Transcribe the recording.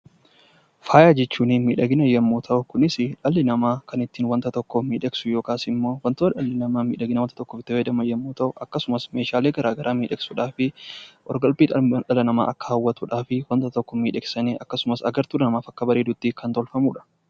Faaya jechuun miidhagina jechuu yoo ta'u Kunis dhalli namaa kan ittiin waan tokko miidhagsu yookiin immoo wantoota dhalli namaa miidhaginaaf itti fayyadamu yoo ta'u akkasumas meeshaalee adda addaa midhagsuudhaa fi qorqalbii namaa akka hawwatuuf waan tokko miidhagsanii wanta tokko kan tolfamuudha.